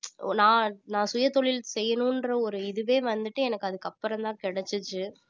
ஒரு நான் நான் சுயதொழில் செய்யணும்ன்ற ஒரு இதுவே வந்துட்டு எனக்கு அதுக்கப்புறம்தான் கிடைச்சுச்சு